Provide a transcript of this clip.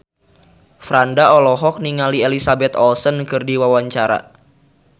Franda olohok ningali Elizabeth Olsen keur diwawancara